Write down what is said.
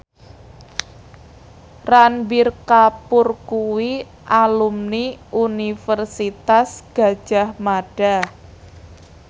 Ranbir Kapoor kuwi alumni Universitas Gadjah Mada